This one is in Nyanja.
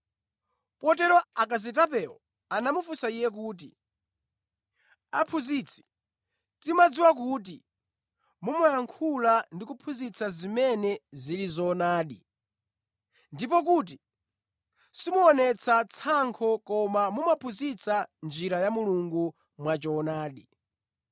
Potero akazitapewo anamufunsa Iye kuti, “Aphunzitsi, tidziwa kuti mumayankhula ndi kuphunzitsa zimene zili zoonadi, ndi kuti simuonetsa tsankho koma mumaphunzitsa njira ya Mulungu mwachoonadi.